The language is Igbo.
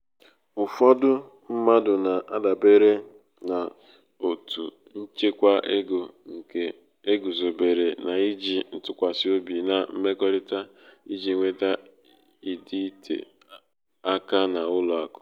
ụfọdụ mmadụ na-adabere um n’òtù ịchekwa ego nke e guzobere n’iji um ntụkwasị obi na mmekọrịta iji nweta um ịdịte aka n’ụlọ akụ.